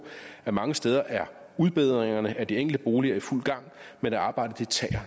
at mange steder er udbedringerne af de enkelte boliger i fuld gang men arbejdet tager